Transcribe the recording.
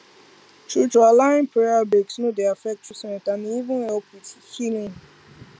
truetrue allowin prayer breaks no dey affect treatment and e even help wit healin